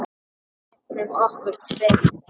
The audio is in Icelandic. Gæjunum okkar tveim.